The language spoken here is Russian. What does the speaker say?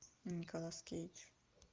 николас кейдж